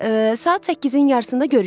Saat 8-in yarısında görüşək.